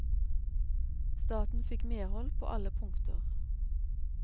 Staten fikk medhold på alle punkter.